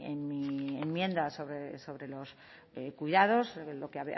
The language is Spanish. en mi enmienda sobre los cuidados lo que